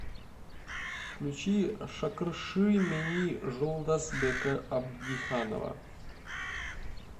включи шакыршы мени жолдасбека абдиханова